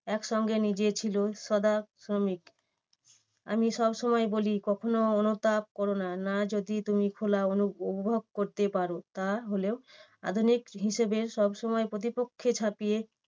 একসঙ্গে নিজে ছিল সদা শ্রমিক। আমি সবসময় বলি কখনো অনুতাপ করোনা না যদি তুমি খোলা অনু~ অনুভব করতে পারো তাহলেও আধুনিক হিসেবে সবসময় প্রতিপক্ষে ঝাঁপিয়ে